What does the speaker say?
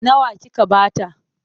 Nawa kika ba ta?